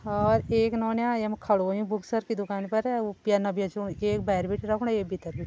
और एक नौन्या यमु खड़ु होयुं बुक सर की दुकानि पर अर वू पेन्य बेचणु एक भैर बिटि रख्णु एक भीतर बिटि।